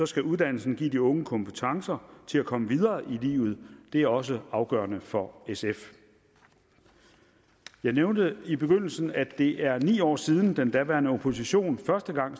skal uddannelsen give de unge kompetencer til at komme videre i livet og det er også afgørende for sf jeg nævnte i begyndelsen at det er ni år siden at den daværende opposition første gang